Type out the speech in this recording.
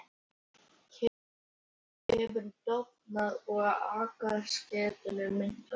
Kyngeta hefur dofnað og afkastagetan minnkað.